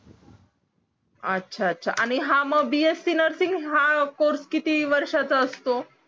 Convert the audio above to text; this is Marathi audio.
याचा याचा हां मग bsc नर्सिंग हा कोर्से किती वर्ष चा असतो